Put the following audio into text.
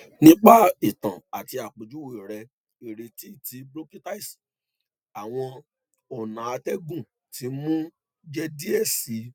nipa itan ati apejuwe rẹ ireti ti bronchitis awọn ọna atẹgun ti nmu jẹ diẹ sii